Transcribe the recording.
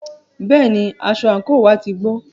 Bẹ́ẹ̀ni, aṣọ àńkò wá ti gbó.